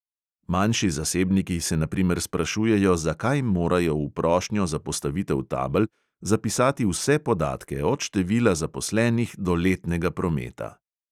Manjši zasebniki se na primer sprašujejo, zakaj morajo v prošnjo za postavitev tabel zapisati vse podatke, od števila zaposlenih do letnega prometa.